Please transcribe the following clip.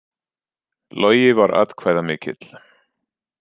Logi var atkvæðamikill